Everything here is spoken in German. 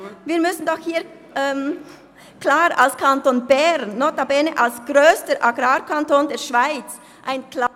Wir müssen doch als Kanton Bern und notabene als grösster Agrarkanton der Schweiz ein klares…